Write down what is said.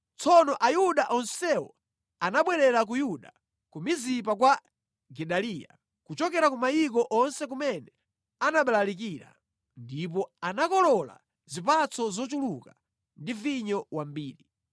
Tsono Ayuda onsewo anabwerera ku Yuda, ku Mizipa kwa Gedaliya, kuchokera ku mayiko onse kumene anabalalikira. Ndipo anakolola zipatso zochuluka ndi vinyo wambiri.